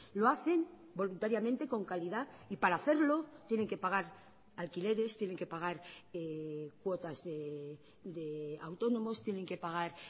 lo hacen voluntariamente con calidad y para hacerlo tienen que pagar alquileres tienen que pagar cuotas de autónomos tienen que pagar